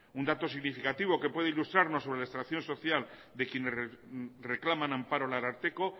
un dato significativo que puede ilustrarnos sobre la social de quien reclama amparo el ararteko